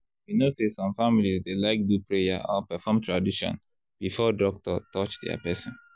you know say some families dey like do prayer or perform tradition before doctor touch their person.